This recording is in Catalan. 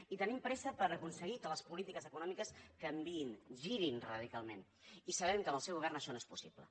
i tenim pressa per aconseguir que les polítiques econòmiques canviïn girin radicalment i sabem que amb el seu govern això no és possible